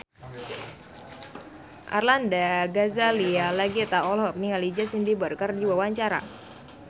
Arlanda Ghazali Langitan olohok ningali Justin Beiber keur diwawancara